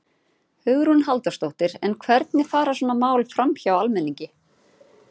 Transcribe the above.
Hugrún Halldórsdóttir: En hvernig fara svona mál framhjá almenningi?